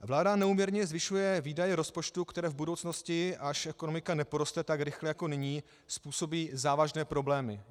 Vláda neúměrně zvyšuje výdaje rozpočtu, které v budoucnosti, až ekonomika neporoste tak rychle jako nyní, způsobí závažné problémy.